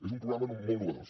és un programa un molt innovador